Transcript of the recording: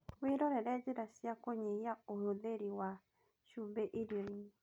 Wĩrorere njĩra cia kũnyihia ũhũthĩri wa cumbĩ irio-inĩ